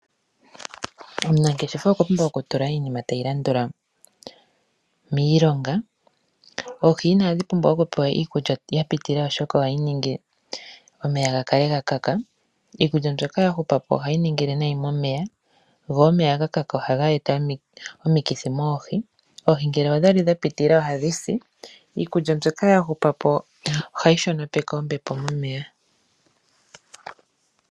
Omunangeshefa okwa pumbwa oku tula iinima tayi landula miilonga. Oohi inadhi pumbwa oku pewa iikulya yapitilila oshoka ohayi ningi omeya gakale gakaka. Iikulya mbyoka ya hupapo ohayi ningile nayi momeya. Go omeya ga kaka oha ga eta omiikithi moohi. Oohi ngele odha li dha pitilila ohadhi si. Iikulya mbyoka ya hupapo ohayi shono peke ombepo momeya.